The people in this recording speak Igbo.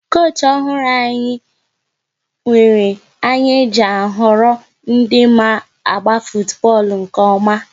Koochi ọhụrụ anyị nwere anya e ji a họrọ ndị ma agba futubọọlụ nke ọma